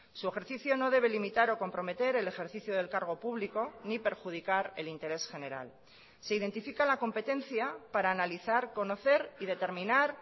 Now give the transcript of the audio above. su ejercicio no debe limitar o comprometer el ejercicio del cargo público ni perjudicar el interés general se identifica la competencia para analizar conocer y determinar